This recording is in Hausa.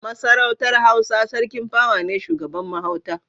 A Masarautar Hausa Sarki pawa ne shugaban mahauta.